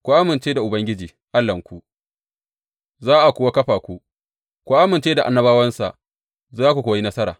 Ku amince da Ubangiji Allahnku za a kuwa kafa ku; ku amince da annabawansa za ku kuwa yi nasara.